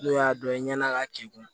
N'o y'a dɔ ye i ɲɛna ka k'i kun